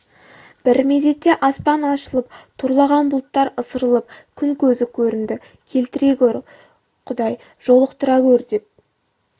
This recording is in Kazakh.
бір мезетте аспан ашылып торлаған бұлттар ысырылып күн көзі көрінді келтіре гөр құдай жолықтыра гөр деп